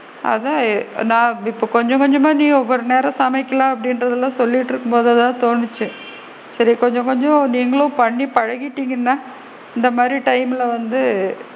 அதான் நான் இப் கொஞ்ச கொஞ்சமா நீ ஒவ்வொரு நேரம் சமைக்கல அப்படின்றதுலா சொல்லிட்டு இருக்கும் போது தான் தோனுச்சு so கொஞ்ச கொஞ்சம் நீங்களும் பண்ணி பழகிட்டிங்கனா இந்த மாதிரி time ல வந்து,